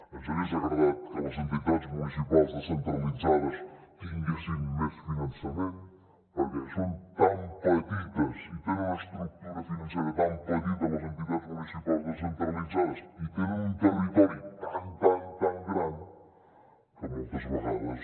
ens hagués agradat que les entitats municipals descentralitzades tinguessin més finançament perquè són tan petites i tenen una estructura financera tan petita les entitats municipals descentralitzades i tenen un territori tan tan tan gran que moltes vegades